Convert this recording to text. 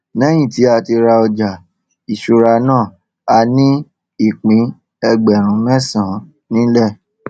lẹyìn tí a rà ọjà ìṣúra náà a ní ìpín ẹgbẹrún mẹsànán nílẹ